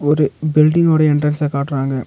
ஒரு பில்டிங் ஓட எண்ட்ரன்ஸ்ஸ காட்டுறாங்க.